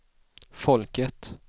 folket